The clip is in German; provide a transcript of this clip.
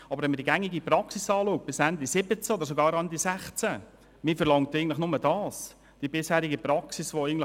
Aber man verlangt eigentlich nur, dass die gängige Praxis, die eigentlich bis Ende 2017 oder sogar Ende 2016 gut funktioniert hat, weitergeführt wird.